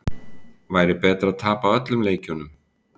Væri betra að tapa öllum leikjunum?